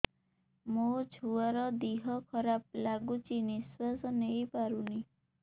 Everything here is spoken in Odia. ମୋ ଛୁଆର ଦିହ ଖରାପ ଲାଗୁଚି ନିଃଶ୍ବାସ ନେଇ ପାରୁନି